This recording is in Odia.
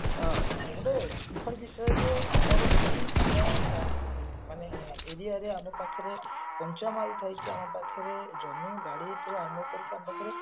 ଅ ଗୋଟେ ଦୁଖଃ ର ବିଷୟ ଯେ ଆମର ପାଇଁ ଆମ ଅ ଆମ aria ରେ ଆମ ପାଖରେ କଞ୍ଚାମାଲ ଥାଇକି ଆମ ପାଖରେ ଜମି ବାଡି ତ ଆମ ପରିକା ଆମ ପାଖରେ